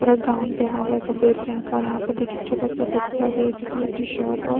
और एक गाउन पहना हुआ है सफेद रंग का और यहाँ पे देखिए छोटा- सा बच्चा भी है जिसने टी- शर्ट और --